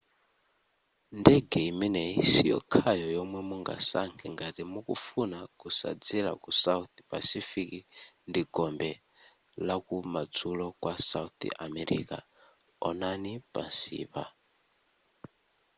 ndege imeneyi siyokhayo yomwe mungasankhe ngati mukufuna kusadzera ku south pacific ndi gombe lakumadzulo kwa south america. onani pansipa